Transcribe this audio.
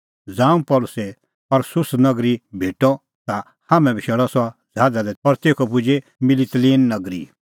ज़ांऊं पल़सी अस्सुस नगरी भेटअ ता हाम्हैं बशैल़अ सह ज़हाज़ा दी तेखअ पुजै मितिलीन नगरी